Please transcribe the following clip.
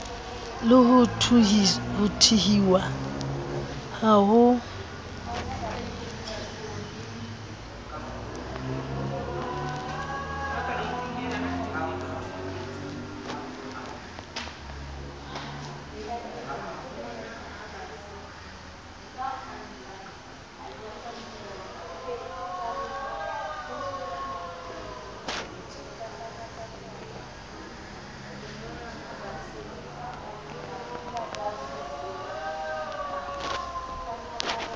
le ho thuhiwa ha ho